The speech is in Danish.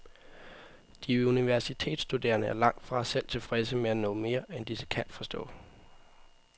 De universitetsstuderende er langt fra selv tilfredse med at nå mere, end de kan forstå.